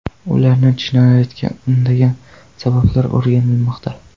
Ularni jinoyatga undagan sabablar o‘rganilmoqda.